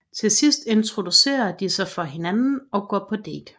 Til sidst introducerer de sig for hinanden og går på date